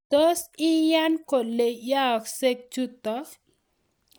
tos iyan kole yaaksei chutok